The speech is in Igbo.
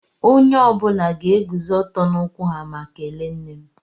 Onye ọbula ga-eguzó ọtọ n'ụkwụ ha ma kèléé nne m